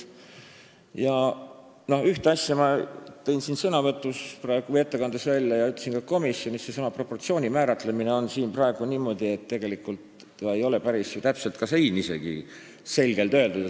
Ühe asja tõin ma siin ettekandes välja ja ütlesin ka komisjonis; sõna "proportsioon" on ka eelnõus praegu määratletud niimoodi, et tegelikult see ei ole päris täpselt ja isegi selgelt öeldud.